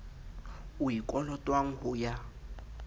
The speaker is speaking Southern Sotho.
o e kolotwang ho ya